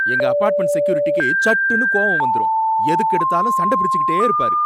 எங்க அபார்ட்மெண்ட் செக்யூரிட்டிக்கு சட்டுன்னு கோவம் வந்துரும் எதுக்கெடுத்தாலும் சண்ட பிடிச்சுகிட்டே இருப்பாரு.